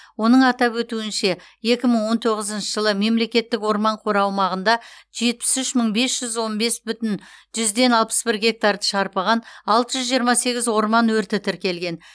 оның атап өтуінше екі мың он тоғызыншы жылы мемлекеттік орман қоры аумағында жетаіс үш мың бес жүз он бес бүтін жүзден алпыс бір гектарды шарпыған алты жүз жиырма сегіз орман өрті тіркелген